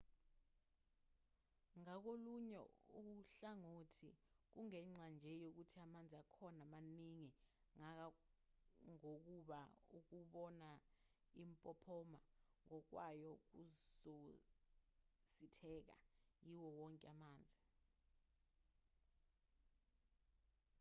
ngakolunye uhlangothi kungenxa nje yokuthi amanzi akhona maningi kangangokuba ukubona impophoma ngokwayo kuzositheka-yiwo wonke amanzi